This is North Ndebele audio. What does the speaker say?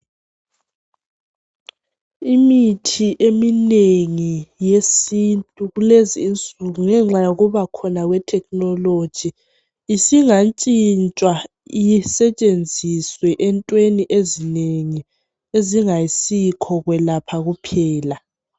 Imithi eminengi yesintu kulezi insuku ngenxa yokubakhona kwethekhinoloji isingantshintshwa isetshenziswe entweni ezinengi ezingasikho kwelapha kuphela.